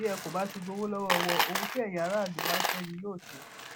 bí ẹ kò bá ti gbowó lọwọ wọn ohun tí ẹyin aráàlú bá fẹ ni yóò ṣe